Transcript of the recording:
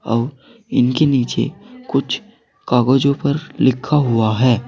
और इनके नीचे कुछ कागजों पर लिखा हुआ है।